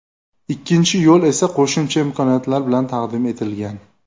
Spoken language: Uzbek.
Ikkinchi yo‘l esa qo‘shimcha imkoniyatlar bilan taqdim etilgan.